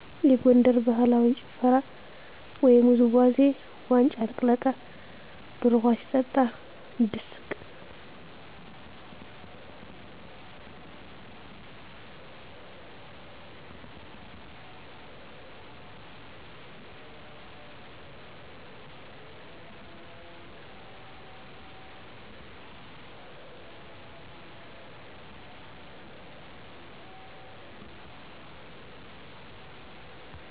የጎንደር ባህላዊ ጭፈራ ወይም ውዝዋዜ ዋንጫ ልቅለቃ፣ ደሮ ውሃ ሲጠጣ፤ ድስቅ